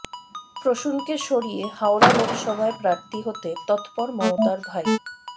প্রসূনকে সরিয়ে হাওড়া লোকসভায় প্রার্থী হতে তৎপর মমতার ভাই